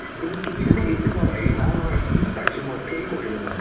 কিন্তু তুমি যদি এইটো ভাবা এই নহয় নহয় কি পাইছো মই fail কৰিলো মই